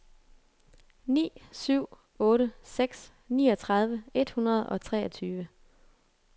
ni syv otte seks niogtredive et hundrede og treogtyve